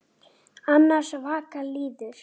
Andans vaka líður.